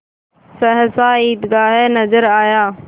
सहसा ईदगाह नजर आया